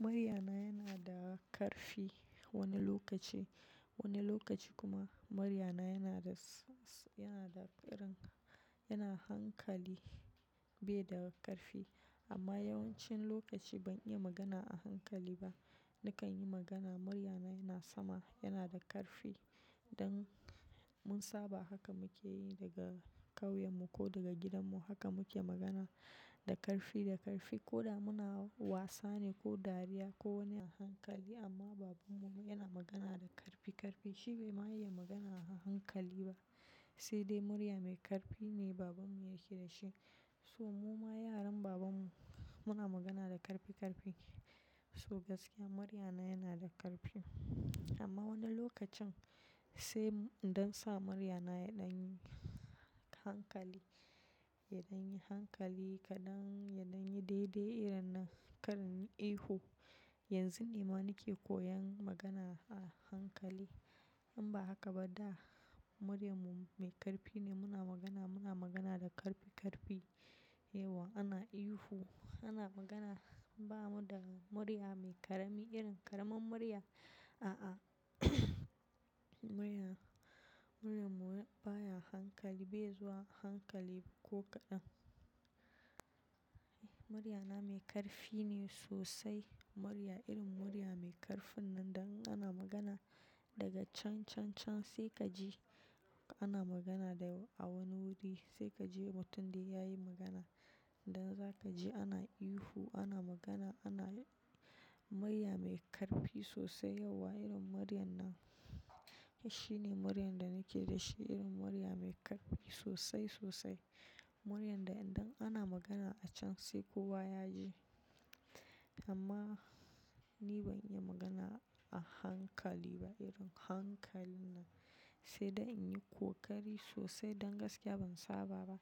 Muryana yana da ƙarfi wani lokaci, wani lokaci kuma muryana yana da, san yana da irin, yana hankali bai da ƙarfi amma yawancin lokaci ban iya magana a hankali ba. Nakan yi magana muryana yana sama, yana da ƙarfi don mun saba haka muke yi daga ƙauyenmu ko daga gidanmu. Haka muke magana da ƙarfi, da ƙarfi ko da muna wasa ne ko dariya ko wani a hankali amma babanmu yana magana da ƙarfi ƙarfi. Shi bai ma iya magana a hankali ba, sai dai murya mai ƙarfi ne babanmu yake da shi. So mu ma yaran babanmu muna magana da ƙarfi ƙarfi. So gaskiya muryana yana da ƙarfi amma wani lokacin sai in dan sa muryana yaɗan yi hankali, yaɗan yi hankali kaɗan, yaɗan yi daidai irin nan, kar in yi ihu. Yanzu ne ma nake koyan magana a hankali. In ba haka ba da muryarmu mai ƙarfi ne muna magana, muna magana da ƙarfi ƙarfi. Yauwa ana ihu, ana magana bamu da murya mai ƙarami irin ƙaramin murya, a'a murya, muryanmu baya hankali bai zuwa hankali ko kaɗan. Muryana mai ƙarfi ne sosai, murya irin murya mai ƙarfin nan da in ana magana daga can can can sai ka ji ana magana da a wani wuri sai ka je mutum dai yayi magana. Dan za ka ji ana ihu, ana magana, ana murya mai ƙarfi sosai yauwa irin muryar nan. Shi ne muryan da nake da shi irin murya mai ƙarfi sosai sosai. Muryarn da idan ana magana a can sai kowa ya ji. Amma ni ban iya magana a hankali ba irin hankalin nan sai dai in yi ƙoƙari sosai don gaskiya ban saba ba.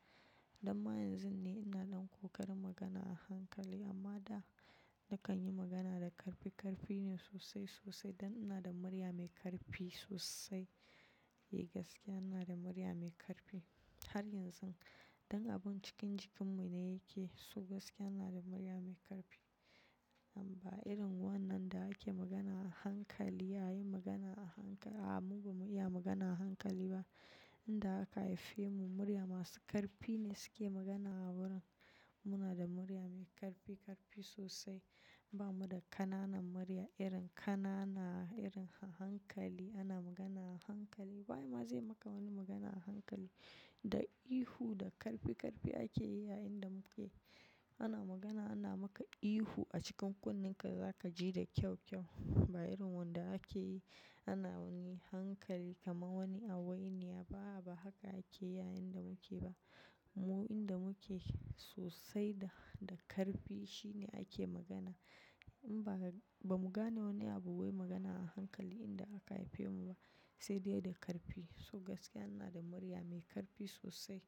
Dan ma yanzun ne ina ɗan ƙoƙarin magana a hankali amma da nakan yi magana da ƙarfi ƙarfi ne sosai sosai don ina da murya mai ƙarfi sosai. Eh gaskiya ina da murya mai ƙarfi har yanzun. Don abun cikin jikinmu ne yake. So gaskiya ina da murya mai ƙarfi. Amma irin wannan da ake magana a hankali, ya yi magana a hankali a'a mu ba mu iya magana a hankali ba. Inda aka haife mu murya masu ƙarfi ne suke magana a wurin. Muna da murya mai ƙarfi ƙarfi sosai. Bamu da ƙananan murya irin ƙanana, irin a hankali, ana magana a hankali. Wa ye ma zai maka wani magana a hankali. Da ihu da ƙarfi ƙarfi ake yi a inda muke. Ana magana ana maka ihu a cikin kunnen ka, za ka ji da kyau kyau. Ba irin wanda ake yi ana wani hankali kaman wani hawainiya ba'a ba haka ake yi a inda muke ba. Mu inda muke sosai da, da ƙarfi shine ake magana. In ba ba mu gane wani abu wai magana a hankali inda aka haife mu ba sai dai da ƙarfi. So gaskiya ina da murya mai ƙarfi sosai.